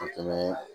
Ka tɛmɛ